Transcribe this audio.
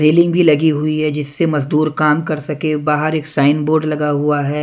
Railing भी लगी हुई है जिससे मजदूर काम कर सके बाहर एक साइन बोर्ड लगा हुआ है।